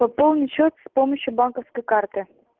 пополнить счёт с помощью банковской карты